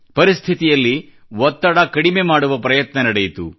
ಪರಿಸ್ಥಿತಿಯಲ್ಲಿ ಒತ್ತಡ ಕಡಿಮೆ ಮಾಡುವ ಪ್ರಯತ್ನ ನಡೆಯಿತು